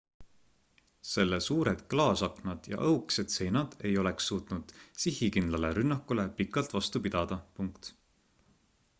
selle suured klaasaknad ja õhukesed seinad ei oleks suutnud sihikindlale rünnakule pikalt vastu pidada